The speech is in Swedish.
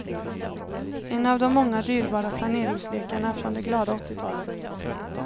En av de många dyrbara planeringslekarna från det glada åttiotalet.